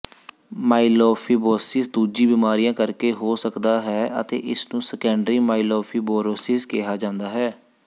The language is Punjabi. ਮਾਈਲੋਫਿਬੋਸਿਸ ਦੂਜੀਆਂ ਬਿਮਾਰੀਆਂ ਕਰਕੇ ਹੋ ਸਕਦਾ ਹੈ ਅਤੇ ਇਸ ਨੂੰ ਸੈਕੰਡਰੀ ਮਾਈਲੋਫਿਬੋਰੋਸਿਸ ਕਿਹਾ ਜਾਂਦਾ ਹੈ